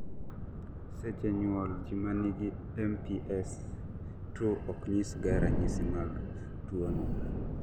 seche nyuol, ji manigi MPS II oknyisga ranyisi mag tuwono